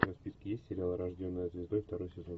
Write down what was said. у тебя в списке есть сериал рожденная звездой второй сезон